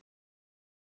Vincent